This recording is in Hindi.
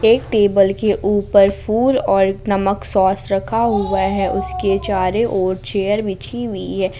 एक टेबल के ऊपर फूल और नमक सॉस रखा हुआ है उसके चारों और चेयर बिछी हुई है।